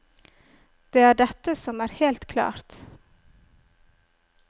Det er dette som er helt klart.